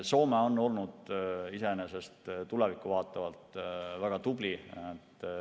Soome on olnud tulevikku vaatavalt väga tubli.